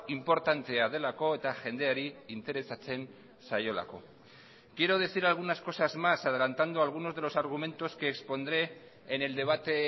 inportantea delako eta jendeari interesatzen zaiolako quiero decir algunas cosas más adelantando algunos de los argumentos que expondré en el debate